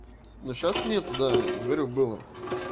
ну сейчас нет да говорю было